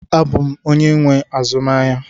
Abụ m onye nwe azụmahịa